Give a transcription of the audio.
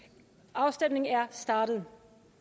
afstemningen er startet